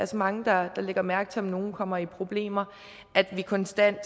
så mange der lægger mærke til om nogen kommer i problemer at vi konstant